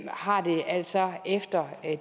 har det altså efter